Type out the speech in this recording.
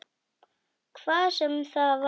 Hvað sem það var.